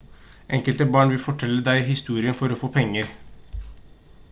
enkelte barn vil fortelle deg historien for å få penger